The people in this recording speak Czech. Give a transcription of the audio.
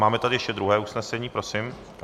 Máme tady ještě druhé usnesení, prosím.